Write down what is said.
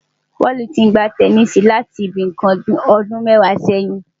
Paul ti ń gbá tẹníìsì láti nǹkan bíi ọdún mẹ́wàá sẹ́yìn.